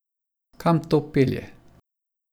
Kam to pelje?